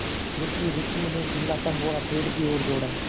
रुकिएरुकिए मैं चिल्लाता हुआ पेड़ की ओर दौड़ा